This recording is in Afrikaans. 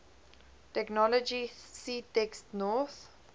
technology ctext north